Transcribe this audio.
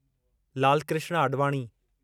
Lalkrishna Advani